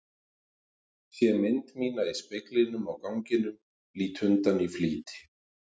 Sé mynd mína í speglinum á ganginum, lít undan í flýti.